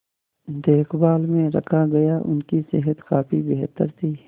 देखभाल में रखा गया उनकी सेहत काफी बेहतर थी